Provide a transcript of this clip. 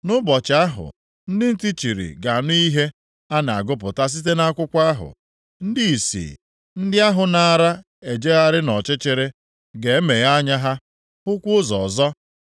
Nʼụbọchị ahụ, ndị ntị chiri ga-anụ ihe a na-agụpụta site nʼakwụkwọ ahụ, ndị ìsì, ndị ahụ naara ejegharị nʼọchịchịrị ga-emeghe anya ha, hụkwa ụzọ ọzọ.